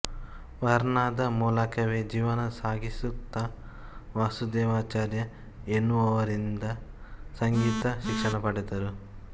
ವಾರಾನ್ನದ ಮೂಲಕವೇ ಜೀವನ ಸಾಗಿಸುತ್ತ ವಾಸುದೇವಾಚಾರ್ಯ ಎನ್ನುವವರಿಂದ ಸಂಗೀತ ಶಿಕ್ಷಣ ಪಡೆದರು